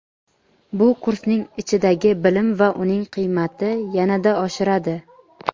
Bu kursning ichidagi bilim va uning qiymati yanada oshiradi.